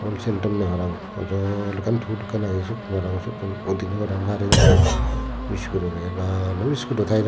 wholesale dunne parapang ajol ekkan tul ekkan age sotttun udunay para pang garaionne biscuito packet bhana biscuito taira.